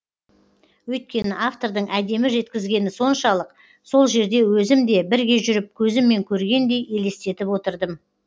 өйткені автордың әдемі жеткізгені соншалық сол жерде өзім де бірге жүріп көзіммен көргендей елестетіп отырдым